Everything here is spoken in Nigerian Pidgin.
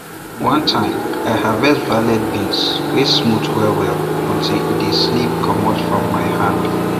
one time i harvest velvet bean wey smooth wellwell until e dey slip commot from my hand